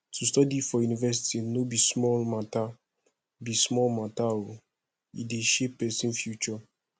to study for university no be small mata be small mata o e dey shape pesin future